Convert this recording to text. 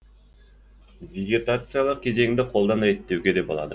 вегетациялық кезеңді қолдан реттеуге де болады